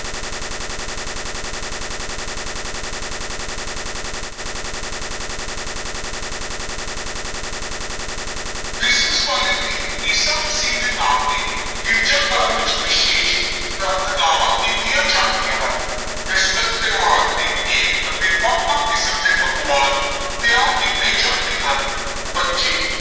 Christmas ਵਾਲੇ ਦਿਨ ਈਸਾ ਮਸੀਹ ਦੇ ਨਾਂ ਤੇ ਗਿਰਜਾ ਘਰ ਵਿੱਚ ਵਿਸ਼ੇਸ਼ ਪ੍ਰਾਰਥਨਾਵਾਂ ਕੀਤੀਆਂ ਜਾਂਦੀਆਂ ਹਨ, ਕ੍ਰਿਸਮਸ ਤਿਉਹਾਰ ਤੇ ਕੇਕ ਅਤੇ ਵੱਖ-ਵੱਖ ਕਿਸਮ ਦੇ ਪਕਵਾਨ ਤਿਆਰ ਕੀਤੇ ਜਾਂਦੇ ਹਨ, ਬੱਚੇ